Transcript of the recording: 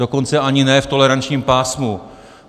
Dokonce ani ne v tolerančním pásmu.